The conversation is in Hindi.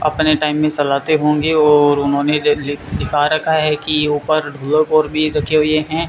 अपने टाइम में सलाते होंगे और उन्होंने दि लिखा रखा है कि ऊपर भी रखे हुए हैं।